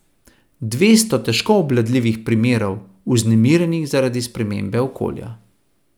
Dvesto težko obvladljivih primerov, vznemirjenih zaradi spremembe okolja.